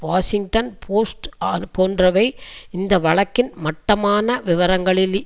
Washington Post அர் போன்றவை இந்த வழக்கின் மட்டமான விவரங்களில்